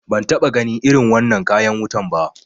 Ban taɓa ganin irin wannan kayan wutan ba